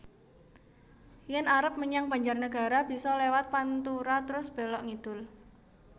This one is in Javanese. Yen arep menyang Banjarnegara biso lewat pantura trus belok ngidul